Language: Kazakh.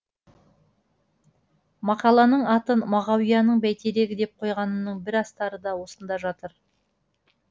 мақаланың атын мағауияның бәйтерегі деп қойғанымның бір астары да осында жатыр